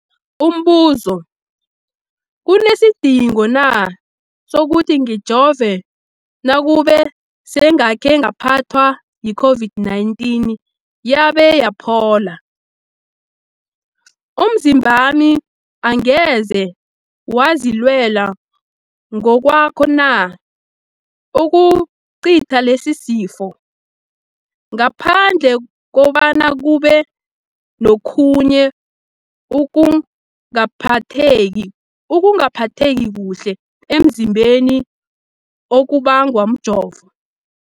Umbuzo, kunesidingo na sokuthi ngijove nakube sengakhe ngaphathwa yi-COVID-19 yabe yaphola? Umzimbami angeze wazilwela ngokwawo na ukucitha lesisifo, ngaphandle kobana kube nokhunye ukungaphatheki kuhle emzimbeni okubangwa mjovo?